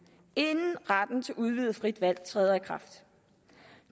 inden retten til udvidet frit valg træder i kraft